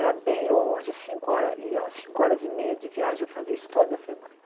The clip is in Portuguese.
Era bem longe, cinco horas e ho cinco horas e meia de viagem, eu fazia isso toda semana.